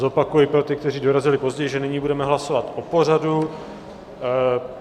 Zopakuji pro ty, kteří dorazili později, že nyní budeme hlasovat o pořadu.